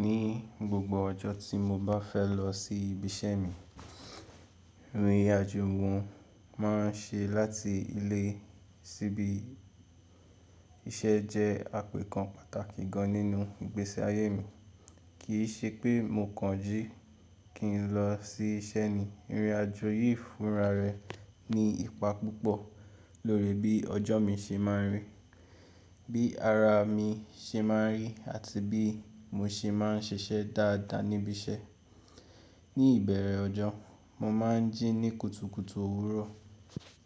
Ní gbogbo ọjọ́ tí mo bá fẹ́ lọ sí ibi iṣẹ́ mi, ìrìn àjò wòn mo ma ń ṣe láti ilé sí ibi iṣẹ́ jẹ́ àpakan pàtàkì gan nínú ìgbésí ayé mi. Kì í ṣe pé mo kan jí kí n lọ sí iṣẹ́ ni, ìrìn àjò yìí fúnra rẹ ní ipá púpọ̀ lórí bí ọjọ́ mi ṣe máa rí, bí ara mi ṣe máa rí àti bí mo ṣe máa ń ṣiṣẹ́ dáadáa níbi iṣẹ́. Ní ìbẹ̀rẹ̀ ọjọ́, mo má ń jí ní kùtùkùtù òwúrọ̀.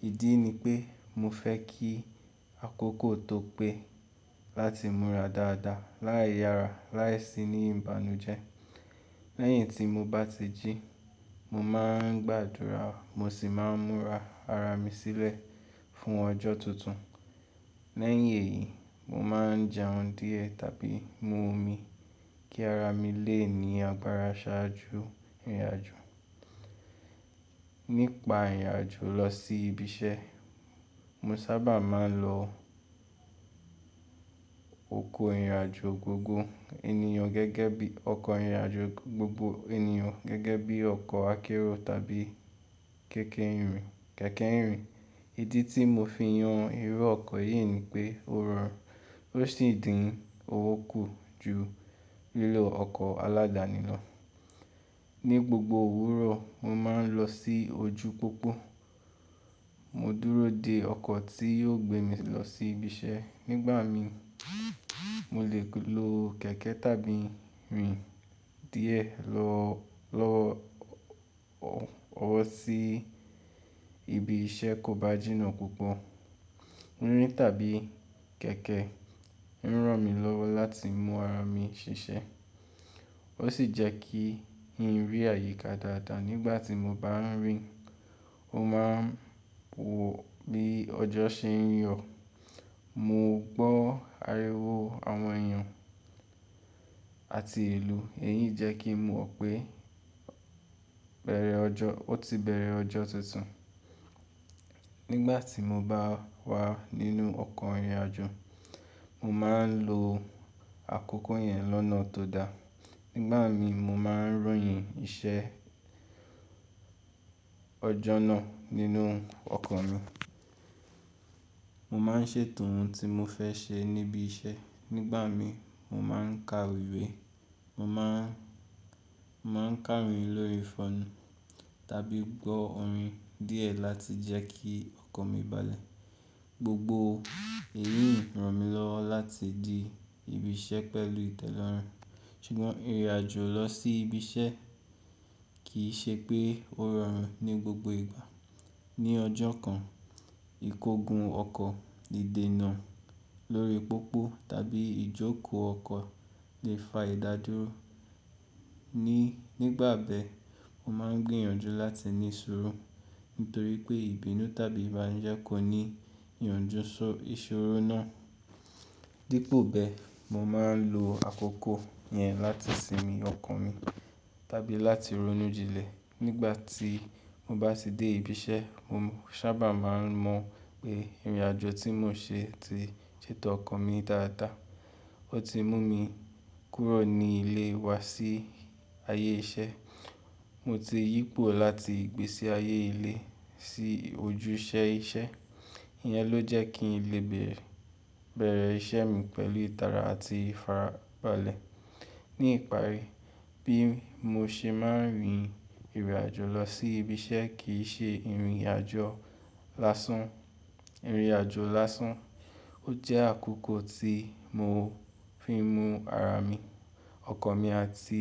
Ìdí ni pé mo fẹ́ kí àkókò tó pé láti múra dáadáa láì yára láì sí ní ìbànújẹ́. Lẹ́yìn tí mo bá ti jí, mo má ń gbàdúrà mo sì má ń múra ara mi sílẹ̀ fún ọjọ́ tuntun. Lẹ́yìn èyí, mo má ń jẹun díẹ̀ tàbí mú omi kí ara mi lè ní agbára ṣáájú ìrìn àjò. Nípa ìrìn àjò lọ sí ibi iṣẹ́, mo sábà má ń lo ọkọ̀ ìrìnàjò gbogbo ènìyàn gẹ́gẹ́ bí ọkọ̀ ìrìnàjò gẹ́gẹ́ bí ọkọ̀ akérò tàbí kẹ̀kẹ́ ìrìn. Ìdí tí mo fi yan irú ọkọ̀ yìí ni pé ó rọrùn, ó sì dín owó kù ju lílo ọkọ̀ aládàáni lọ. Ní gbogbo òwúrọ̀, mo má ń lọ sí ojú pópó, mo dúró de ọkọ̀ tí yóò gbé mi lọ sí ibi iṣẹ́. Nígbà mi mo lè lo kẹ̀kẹ́ tàbí rìn díẹ̀ lọ lọ́wọ́ owo sí ibi iṣẹ́ kó bá jìnà púpọ̀. Rín tàbí kẹ̀kẹ́ ń ràn mí lọ́wọ́ láti mú ara mi ṣiṣẹ́, ó sì jẹ́ kí n rí àyíká dáadáa. Nígbà tí mo bá n rìn, mo má ń wò bí ọjọ́ ṣe n yọ, mo gbọ́ ariwo àwọn ènìyàn àti ilù. Èyí jẹ́ kí n mọ̀ pé bẹ̀rẹ̀ ọjọ́ ó ti bẹ̀rẹ̀ ọjọ́ tuntun nígbà tí mo bá wà nínú ọkọ̀ ìrìnàjò, mo má ń lo àkókò yẹn lọ́nà tó dáa. Nígbà mi mo má ń ròyìn iṣẹ́ ọjọ́ náà nínú ọkọ̀ mi. Mo má ń ṣètò ohun tí mo fẹ́ ṣe níbi iṣẹ́. Nígbà mi mo má ń ka ìwé, mo má ń kàwé lórí fóònù tàbí gbọ́ orin díẹ̀ láti jẹ́ kí ọkan mi balẹ̀. Gbogbo èyí ń ràn mí lọ́wọ́ láti de ibi iṣẹ́ pẹ̀lú ìtẹ́lọ́rùn. Ṣùgbọ́n ìrìnàjò lọ sí ibi iṣẹ́ kì í ṣe pé ó rọrùn ní gbogbo ìgbà. Ni ọjọ́ kan, ìkógun ọkọ̀ lè dènà lórí pópó tàbí ìjókòó ọkọ̀ lè fa ìdádúró. Nígbà bẹ́ẹ̀, mo má ń gbìyànjú láti ní sùúrù nítorí pé ìbínú tàbí ìbànújẹ́ kò ní ìyànjú ìṣòro náà. Dípo bẹ́ẹ̀, mo má ń lo àkókò yẹn láti sinmi ọkan mi tàbí láti ronú jinlẹ̀. Nígbà tí mo bá ti dé ibi iṣẹ́, mo sábà má ń mọ̀ pé ìrìnàjò tí mo ṣe ti ṣètò ọkan mi dáadáa. Ó ti mú mi kúrò ní ilé wa sí ayé iṣẹ́. Mo ti yípo láti ìgbésí ayé ilé sí ojúṣe iṣẹ́. Ìyẹn ló jẹ́ kí n lè bẹ̀rẹ̀ ìṣe mi pẹ̀lú ìtara àti ìfarabalẹ̀. Ní ìparí, bí mo ṣe máa ń rin ìrìn àjò lọ sí ibi iṣẹ́ kì í ṣe ìrìnàjò lásán. Ó jẹ́ àkókò tí mo fi ń mú ara mi, ọkan mi àti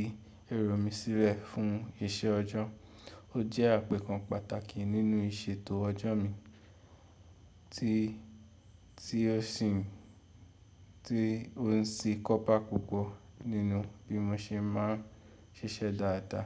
ẹro mi sílẹ̀ fún iṣẹ́ ọjọ́. Ó jẹ́ àpẹẹkan pàtàkì nínú ìṣètò ọjọ́ mi tí ó ṣi n ti o n ṣe akọ́bà púpọ̀ nínú bí mo ṣe máa ń ṣiṣẹ́ dáadáa.